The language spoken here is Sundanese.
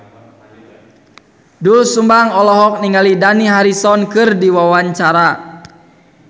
Doel Sumbang olohok ningali Dani Harrison keur diwawancara